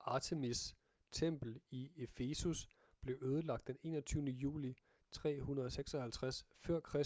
artemis' tempel i efesus blev ødelagt den 21. juli 356 f.kr